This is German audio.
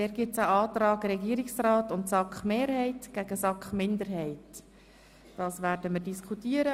Hierzu gibt es einen Antrag Regierungsrat und SAK-Mehrheit, dem ein Antrag der SAK-Minderheit gegenübersteht.